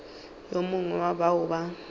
yo mongwe wa bao ba